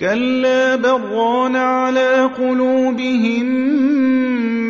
كَلَّا ۖ بَلْ ۜ رَانَ عَلَىٰ قُلُوبِهِم